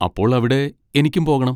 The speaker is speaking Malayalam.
അപ്പോൾ അവിടെ എനിക്കും പോകണം.